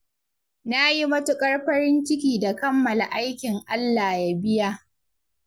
Na yi matuƙar farin ciki da kammala aikin Allah ya biya.